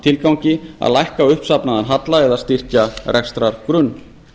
tilgangi það er lækka uppsafnaðan halla eða styrkja rekstrargrunn